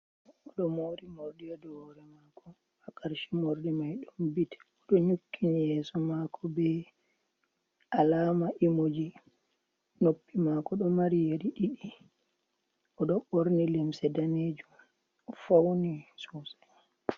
O ɗo mori morɗi haa dow wore mako, haa karshe morɗi mai ɗom bit, o ɗo nyukkini yeso mako be alama imuji. Noppi mako ɗo mari yeri ɗiɗi, o ɗo ɓorni limse danejum o fauni sosai.